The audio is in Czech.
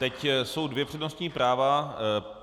Teď jsou dvě přednostní práva.